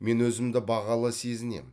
мен өзімді бағалы сезінемін